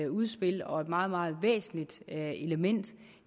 udspil og et meget meget væsentligt element